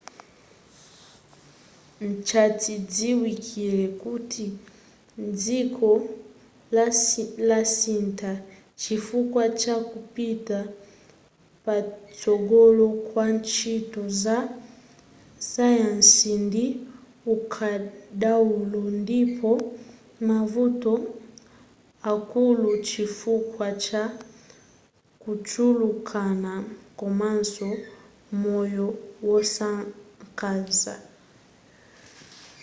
nchachidziwikile kuti dziko lasintha chifukwa cha kupita patsogolo kwa ntchito za sayansi ndi ukadaulo ndipo mavuto akula chifukwa cha kuchulukana komanso moyo wosakaza